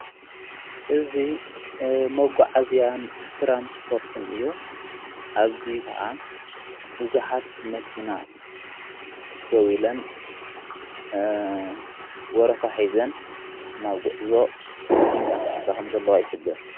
እዙ መጎዓእዝያን ትራንስጶርትን እዩ ኣብዙይ ከዓ ብዙኃት መኪና ደው ኢለን ወረፋሒዘን ናብ ጕዕዞ ሊንቃሣኣሳኸም ዘለዋ ኣይኅብር